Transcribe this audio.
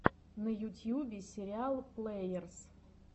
на ютьюбе сериал плэерс